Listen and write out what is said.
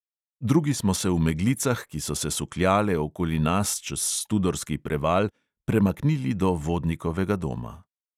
Drugi smo se v meglicah, ki so se sukljale okoli nas čez studorski preval, premaknili do vodnikovega doma.